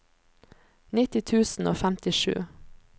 nitti tusen og femtisju